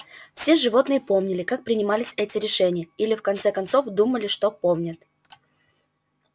все животные помнили как принимались эти решения или в конце концов думали что помнят